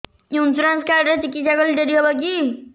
insurance card ରେ ଚିକିତ୍ସା କଲେ ଡେରି ହବକି